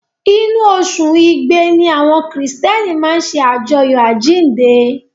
Inú oṣù Igbe ni àwọn Kìrìtẹ́ẹ́nì máa ń ṣe àjọyọ̀ àjíǹde.